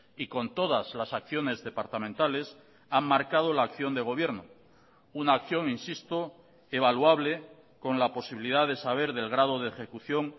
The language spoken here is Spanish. y con todas las acciones departamentales han marcado la acción de gobierno una acción insisto evaluable con la posibilidad de saber del grado de ejecución